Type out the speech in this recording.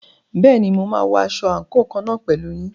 Bẹ́ẹ̀ni, mo máa wọ aṣọ àǹkóò kan náà pẹ̀lú yín.